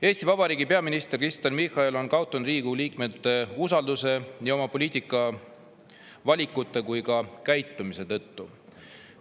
Eesti Vabariigi peaminister Kristen Michal on kaotanud Riigikogu liikmete usalduse nii oma poliitikavalikute kui ka käitumise tõttu.